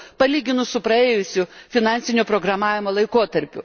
palyginti su praėjusiu finansinio programavimo laikotarpiu.